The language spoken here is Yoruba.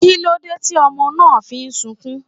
Kílódé tí ọmọ náà fi ń sukún?